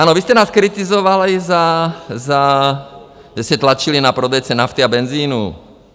Ano, vy jste nás kritizovali za... - vy jste tlačili na prodejce nafty a benzinu.